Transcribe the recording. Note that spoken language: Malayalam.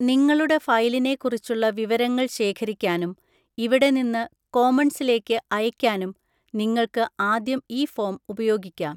നിങ്ങളുടെ ഫയലിനെ കുറിച്ചുള്ള വിവരങ്ങൾ ശേഖരിക്കാനും ഇവിടെ നിന്ന് കോമൺസിലേക്ക് അയയ്ക്കാനും നിങ്ങൾക്ക് ആദ്യം ഈ ഫോം ഉപയോഗിക്കാം.